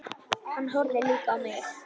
Hann horfði líka á mig.